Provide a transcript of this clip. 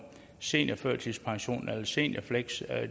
seniorførtidspension eller et seniorfleksjob